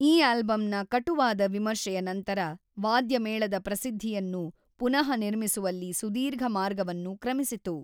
ಈ ಆಲ್ಬಂನ ಕಟುವಾದ ವಿಮರ್ಶೆಯ ನಂತರ ವಾದ್ಯ ಮೇಳದ ಪ್ರಸಿದ್ಧಿಯನ್ನು ಪುನಃನಿರ್ಮಿಸುವಲ್ಲಿ ಸುದೀರ್ಘ ಮಾರ್ಗವನ್ನು ಕ್ರಮಿಸಿತು.